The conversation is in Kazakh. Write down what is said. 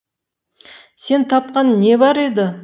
сен тапқан не бар еді